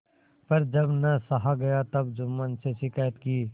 पर जब न सहा गया तब जुम्मन से शिकायत की